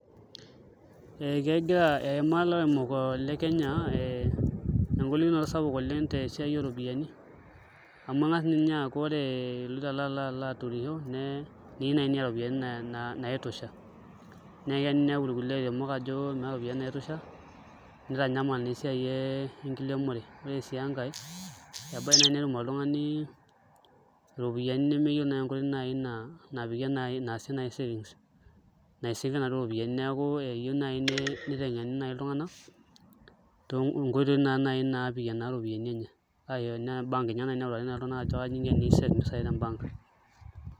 Ee ekegira eimaa ilairemok le Kenya engolikinot sapuk oleng' te esiai ooropiyiani amu eng'as ninye aaku ore iloito alo aturrisho neyieu naai niata iropiyiani naitosha, neya ninepu kulie airemok ajo meeta iropiyiani naitosha nitanyamal naa esiai enkiremore, ore sii enkae ebaiki naai netum oltung'ani iropiyiani nemeyiolo naai enkoitoi napikie naasie naai savings naisavie ianduo ropiyiani neeku eyieu naai niteng'eni naai iltung'anak nkoitoi naa naai naapikie iropiyiani enye ashu enaa ebank naai neutaki iltung'anak aajo kaja iko tenisave mpisai te embank.